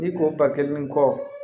N'i ko ba kelen ni kɔ